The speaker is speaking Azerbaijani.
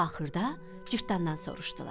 Axırda cırtdandan soruşdular: